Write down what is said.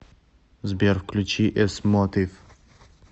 сбер включи эс мотив